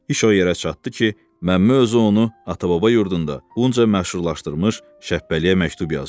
iş o yerə çatdı ki, Məmmə özü ona ata-baba yurdunda bunca məşhurlaşdırmış Şəbbəliyə məktub yazdı.